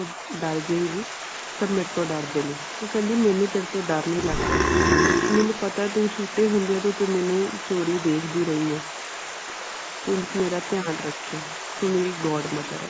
ਡਰ ਜੇਗੀ ਸਬ ਮੇਰੇ ਤੋਂ ਡਰਦੇ ਨੇ। ਉਹ ਕਹਿੰਦੀ ਮੇਨੂ ਤੇਰੇ ਤੋਂ ਡਰ ਨਹੀਂ ਲਗਦਾ। ਮੈਨੂੰ ਪਤਾ ਤੂੰ ਛੋਟੇ ਹੁੰਦੇ ਤੋਂ ਮੈਨੂੰ ਚੋਰੀ ਦੇਖਦੀ ਰਹੀ ਹਾਂ। ਤੂੰ ਮੇਰਾ ਧਿਆਨ ਰੱਖਿਆ ਤੂੰ ਮੇਰੀ godmother ਹੈ।